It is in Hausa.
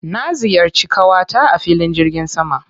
Na ziyarci ƙawata a filin jirgin sama.